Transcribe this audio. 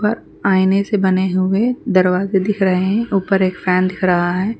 و آئنے سے بنے ہوئے دروازے دکھرہے ہے اپر ایک فن دکھ رہا ہے.